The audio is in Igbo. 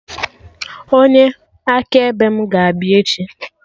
Onye akaebe mụ ga-abịa echi